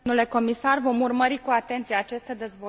Vom urmări cu atenție aceste dezvoltări.